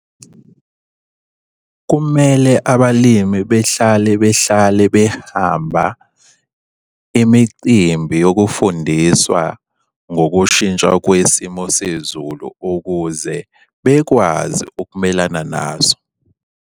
Kumele abalimi behlale behlale behamba imicimbi yokufundiswa ngokushintsha kwesimo sezulu ukuze bekwazi ukumelana naso.